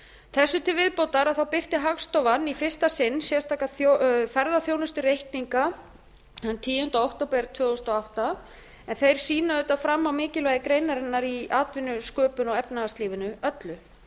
þessu til viðbótar birti hagstofan í fyrsta sinn sérstaka ferðaþjónustureikninga þann tíunda október tvö þúsund og átta en þeir sýna auðvitað fram á mikilvægi greinarinnar í atvinnusköpun og efnahagslífinu öllu